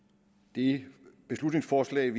det beslutningsforslag